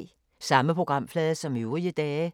Samme programflade som øvrige dage